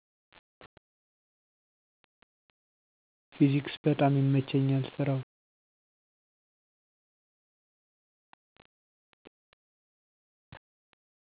ፊዚክስ በጣም ይመቸኛል ስራው